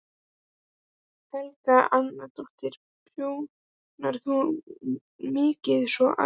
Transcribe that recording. Helga Arnardóttir: Prjónar þú mikið svona almennt?